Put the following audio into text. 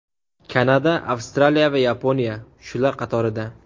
Kanada, Avstraliya va Yaponiya shular qatorida.